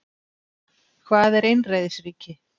Hvað er einræðisríki?